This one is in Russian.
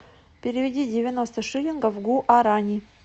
переведи девяносто шиллингов в гуарани